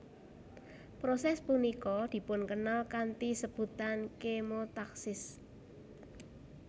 Proses punika dipunkenal kanthi sebutan kemotaksis